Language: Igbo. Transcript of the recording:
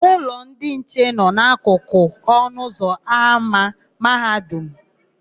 Ụlọ ndị nche nọ n'akụkụ ọnụụzọ ámá Mahadum mụ.